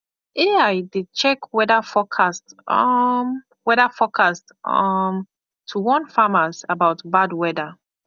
ai dey check weather forecast um weather forecast um to warn farmers about bad weather